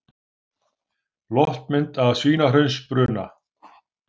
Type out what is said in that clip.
Loftmynd af Svínahraunsbruna.